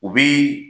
U bi